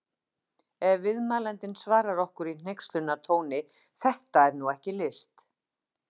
Ef viðmælandinn svarar okkur í hneykslunartóni: Þetta er nú ekki list!